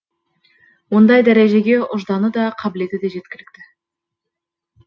ондай дәрежеге ұжданы да қабілеті де жеткілікті